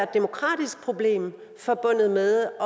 demokratisk problem forbundet med